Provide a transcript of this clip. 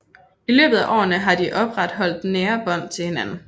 I løbet af årene har de opretholdt nære bånd til hinanden